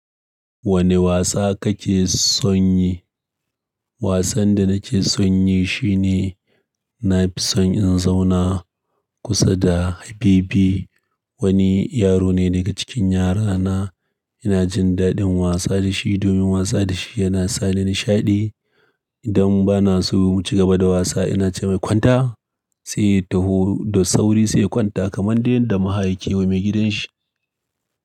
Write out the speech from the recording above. Wane wasa kake son yi? Wasan da nake son yi shine na fi son in zauna kusa da Habibi. Wani yaro ne daga cikin yara na. Ina jin daɗin wasa da shi domin wasa da shi yana sa ni nishaɗi. Idan bana so mu cigaba da wasa, ina ce mai "kwanta," sai ya taho da sauri sai ya kwanta kamar dai yanda maha yake wa maigidan shi.